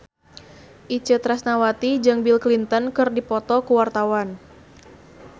Itje Tresnawati jeung Bill Clinton keur dipoto ku wartawan